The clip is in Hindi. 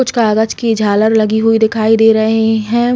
कुछ कागज़ की झालर लगी हुई दिखाई दे रही है।